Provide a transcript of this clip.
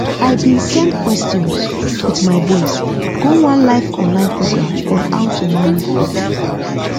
i bin send questions with my voice go one live online program on how to manage poultry